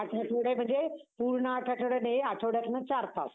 आठवडे म्हणजे पूर्ण आठ आठवडे नाही. आठवड्यातनं चार तास.